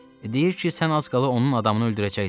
Deyir ki, sən az qala onun adamını öldürəcəydin.